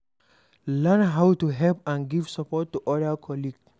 Learn how to help and give support to oda colleague